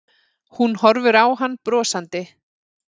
Hún horfir á hann brosandi.